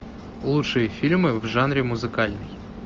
лучшие фильмы в жанре музыкальный